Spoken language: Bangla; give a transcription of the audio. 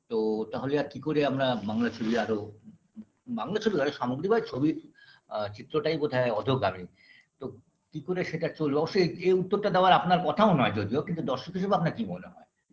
তো তাহলে আর কি করে আমরা বাংলা ছবি আরো বাংলা ছবি কেন সামগ্রী বাই ছবি আ চিত্রটাই বোধহয় অত কারে তো কি করে সেটা চললো অবশ্য এই এই উত্তরটা দেওয়ার আপনার কথাও নয় যদিও কিন্তু দর্শক হিসেবে আপনার কি মনে হয়